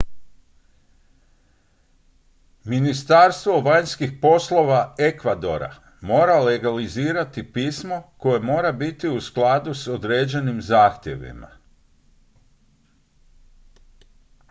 ministarstvo vanjskih poslova ekvadora mora legalizirati pismo koje mora biti u skladu s određenim zahtjevima